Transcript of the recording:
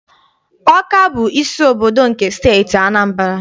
Ọka bụ isi obodo nke Steeti Anambra.